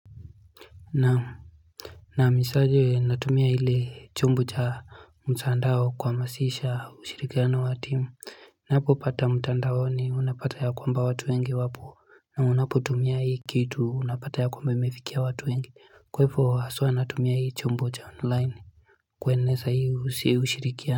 Naam nahamisaje natumia ile chombo cha mtandao kuhamasisha ushirikiano wa timu napopata mtandaoni unapata ya kwamba watu wengi wapo na unapotumia hii kitu unapata ya kwamba imefikia watu wengi kwa hivo haswa natumia hii chombo cha online kueneza hii ushirikiano.